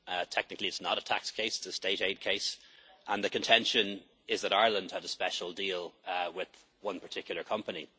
Technically it is not a tax case, but a state aid case, and the contention is that Ireland had a special deal with one particular company.